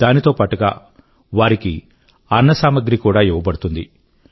దానితో పాటుగా వారికి అన్నసామాగ్రి కూడా ఇవ్వబడుతుంది